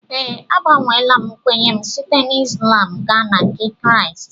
Ee, agbanweela m nkwenye m site na Islam gaa na nke Kraịst